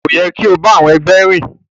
Ko yẹ ki o ti ba àwọn ẹgbẹ rìn.